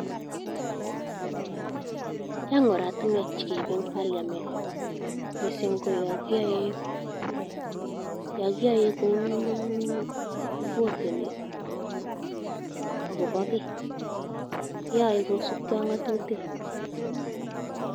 Chang oratinwek che keibe en parliament, mising koyon kiyoe kou kevotei agobo kiy. Keyoe kocubge ak ng'atutik.